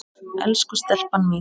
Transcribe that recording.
Elsku stelpan mín.